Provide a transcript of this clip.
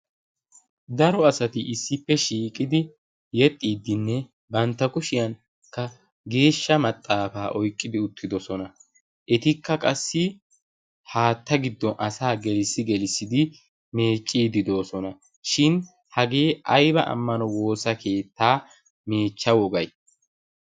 daro asati issippe shiiqidi yexxiiddinne bantta kushiyankka geeshsha maxaafaa oiqqidi uttidosona. etikka qassi haatta giddon asaa gelissi gelissidi meecciidi doosona. shin hagee aiba ammano woosa keettaa meechcha wogay?